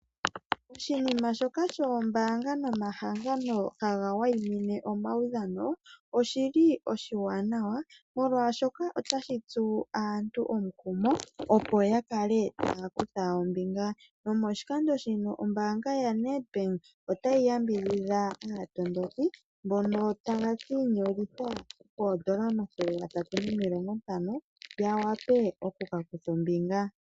Oshinima shoka shoombaanga nomahangano haga wayiminine omaudhano oshili oshiwanawa ,molwaashoka otashi tsu aantu omukumo opo yakale taya kutha ombinga nomo shikando shino ombaanga Ya Nedbank otayi yambidhidha aatondoki mbono taya ka ishangitha koondola omathele gatatu nomilongo ntano ya wape oku kutha ombinga.